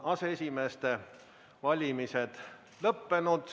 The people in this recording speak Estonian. Aseesimeeste valimised on lõppenud.